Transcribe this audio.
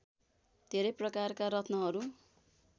धेरै प्रकारका रत्नहरू